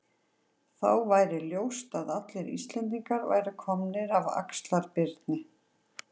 Þá væri ljóst að allir Íslendingar væru komnir af Axlar-Birni.